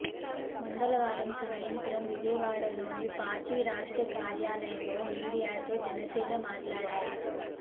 మంగళవారం సాయంత్రం విజయవాడలోని పార్టీ రాష్ట్ర కార్యాలయంలో మీడియాతో జనసేనాని మాట్లాడారు